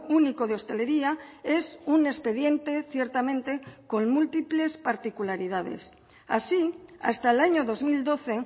único de hostelería es un expediente ciertamente con múltiples particularidades así hasta el año dos mil doce